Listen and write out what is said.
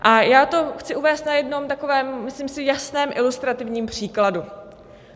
A já to chci uvést na jednom takovém, myslím si, jasném ilustrativním příkladu.